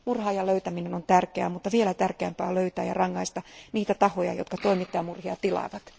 Murhaajan löytäminen on tärkeää, mutta vielä tärkeämpää on löytää ja rangaista niitä tahoja, jotka toimittajamurhia tilaavat.